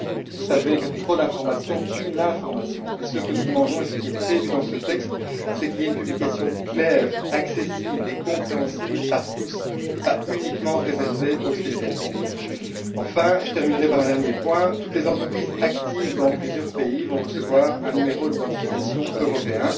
Vous savez que trop d'information tue l'information, et ce que nous demandons et ce qui est prévu dans ce texte c'est qu'il y ait une publication claire, accessible et compréhensible par tous, et pas uniquement réservée aux spécialistes. Enfin, je terminerai par un dernier point toutes les entreprises actives dans plusieurs pays vont recevoir un numéro d'identification européen.